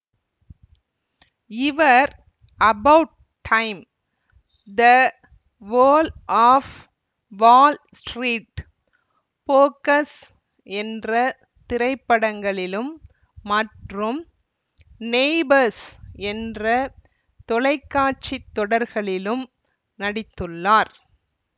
இவர் about time the wolf of Wall Street focus போன்ற திரைப்படங்களிலும் மற்றும் நெய்பர்ஸ் என்ற தொலைக்காட்சி தொடர்களிலும் நடித்துள்ளார்